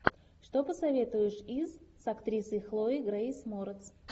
что посоветуешь из с актрисой хлоей грейс морец